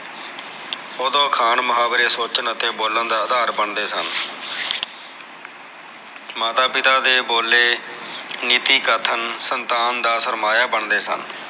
ਉਦੋ ਅਖਾਣ ਮੁਹਾਵਰੇ ਸੋਚਣ ਅਤੇ ਬੋਲਣ ਦਾ ਅਧਾਰ ਬਣਦੇ ਸਨ ਮਾਤਾ ਪਿਤਾ ਦੇ ਬੋਲੇ ਨੀਤੀ ਕਥਨ ਸੰਤਾਨ ਦਾ ਸਰਮਾਇਆ ਬਣਦੇ ਸਨ